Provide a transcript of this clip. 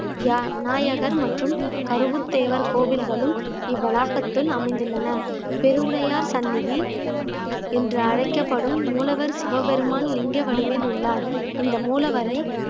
வியா~ விநாயகர் மற்றும் கருவுத்தேவர் கோவில்களும் இவ்வளாகத்தில் அமைந்துள்ளன பெருவுடையார் சன்னதி என்று அழைக்கப்படும் மூலவர் சிவபெருமான் லிங்க வடிவில் உள்ளார் இந்த மூலவரை